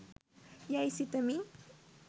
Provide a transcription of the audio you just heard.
යැයි සිතමි